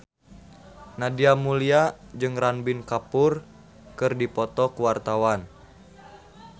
Nadia Mulya jeung Ranbir Kapoor keur dipoto ku wartawan